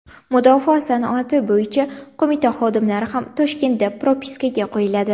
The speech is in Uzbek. Mudofaa sanoati bo‘yicha qo‘mita xodimlari ham Toshkentda propiskaga qo‘yiladi.